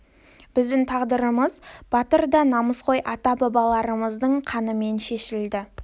біздің тағдырымыз батыр да намысқой ата бабаларымыздың қаныменен шешілді